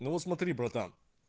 ну вот смотри братан